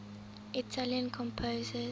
italian composers